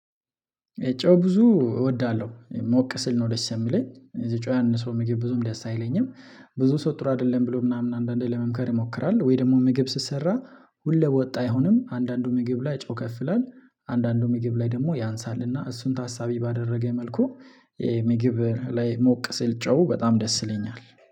የጨው ብዙ እወዳለሁ ሞቅ ስል ነው ደስ የሚለኝ የጨው ያን ሰው ምግብ ብዙም ደስ አይለኝም። ብዙ ሰው ጥሩ አይደለም ብሎ ምናምን አንዳንዴ ለመምከር ይሞክራል ወይ ደግሞ ምግብ ስሰራ ሁለብ ወጣ አይሆንም አንዳንዱ ምግብ ላይ ጨው ከፍ ይላል። አንዳንዱ ምግብ ላይ ደግሞ ያንሳል እና እሱን ታሳቢ ባደረገኝ መልኩ። ምግብ ላይ ሞቅ ስል ጨው በጣም ደስ ይለኛል